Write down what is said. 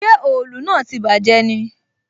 Ṣé òòlù náà tí bàjé ni?